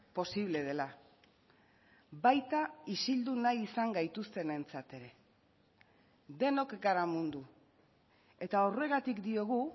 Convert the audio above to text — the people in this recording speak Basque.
posible dela baita isildu nahi izan gaituztenentzat ere denok gara mundu eta horregatik diogu